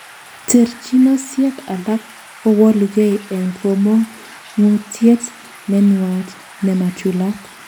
Terchinosiek alak kowolukei en komong'utiet nenwach nemachulat.